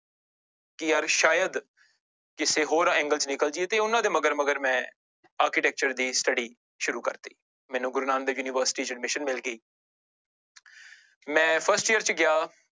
ਕਿ ਯਾਰ ਸ਼ਾਇਦ ਕਿਸੇ ਹੋਰ angle ਚ ਨਿਕਲ ਜਾਈਏ ਤੇ ਉਹਨਾਂ ਦੇ ਮਗਰ ਮਗਰ ਮੈਂ architecture ਦੀ study ਸ਼ੁੁਰੂ ਕਰ ਦਿੱਤੀ l ਮੈਨੂੂੰ ਗੁਰੂ ਨਾਨਕ ਦੇਵ university ਚ admission ਮਿਲ ਗਈ l ਮੈਂ first year ਚ ਗਿਆ